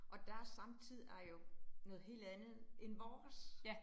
Og deres samtid er jo noget helt andet end vores